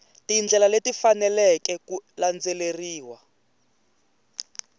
tindlela leti faneleke ku landzeriwa